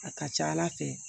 A ka ca ala fɛ